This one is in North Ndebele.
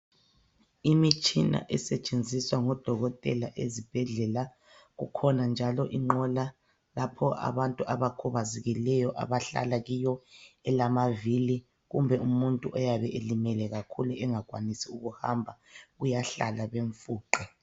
Imitshina esetshenziswa ngodokotela ezibhedlela. Kukhona njalo inqola lapho abantu abakhubazekileyo abahlala kiyo elamavili kumbe umuntu oyabe elimele kakhulu engakwanisi ukuhamba uyahlala bemfuqe.